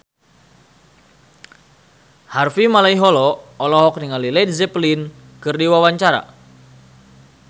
Harvey Malaiholo olohok ningali Led Zeppelin keur diwawancara